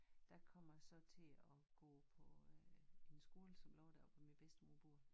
Der kom jeg så til at gå på øh en skole som lå deroppe hvor min bedstemor bor